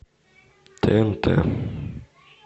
тнт